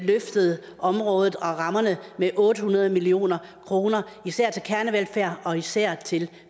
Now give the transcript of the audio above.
løftet området og rammerne med otte hundrede million kr især til kernevelfærd og især til